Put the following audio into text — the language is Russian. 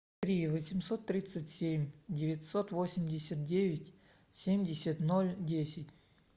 три восемьсот тридцать семь девятьсот восемьдесят девять семьдесят ноль десять